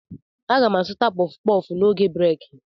M ga-azụta kpọf kpọf n'oge breeki